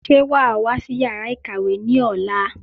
Sé wàá wá sí yàrá ìkàwé ní ọ̀la?